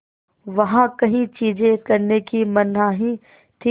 वहाँ कई चीज़ें करने की मनाही थी